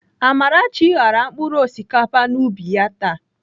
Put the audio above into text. Amarachi ghara mkpụrụ osikapa n'ubi ya taa.